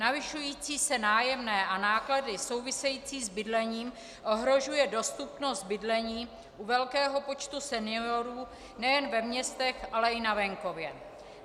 Navyšující se nájemné a náklady související s bydlením ohrožují dostupnost bydlení u velkého počtu seniorů nejen ve městech, ale i na venkově.